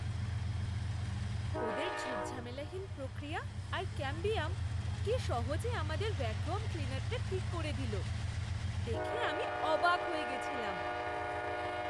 ওদের ঝুট ঝামেলাহীন প্রক্রিয়া আর ক্যাম্বিয়াম কি সহজে আমাদের ভ্যাকুয়াম ক্লিনারটা ঠিক করে দিলো! দেখে আমি অবাক হয়ে গেছিলাম!